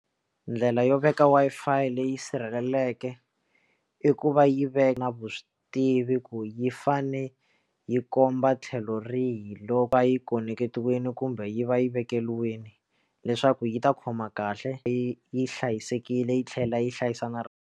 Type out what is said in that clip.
Ndlela yo veka Wi-Fi leyi sirhelelekeke i ku va yi veka vuswi tivi ku yi fane yi komba tlhelo rihi loko a yi koneketiwile kumbe yi va yi vekeriwile leswaku yi ta khoma kahle leyi yi hlayisekile yi tlhela yi hlayisa na rona.